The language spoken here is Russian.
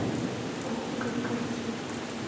окко картинка